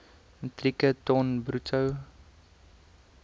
metrieke ton bruto